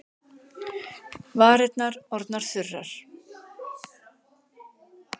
Varirnar orðnar þurrar.